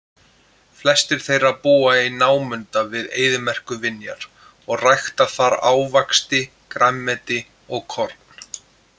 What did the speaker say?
Flestir þeirra búa í námunda við eyðimerkurvinjar og rækta þar ávaxti, grænmeti og korn.